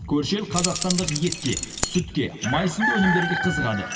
көрші елі қазақстандық етке сүтке май сынды өнімдерге қызығады